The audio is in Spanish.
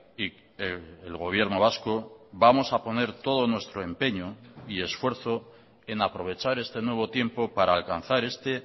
y el gobierno vasco vamos a poner todo nuestro empeño y esfuerzo en aprovechar este nuevo tiempo para alcanzar este